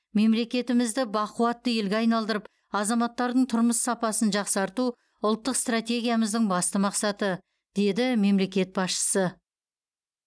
мемлекетімізді бақуатты елге айналдырып азаматтардың тұрмыс сапасын жақсарту ұлттық стратегиямыздың басты мақсаты деді мемлекет басшысы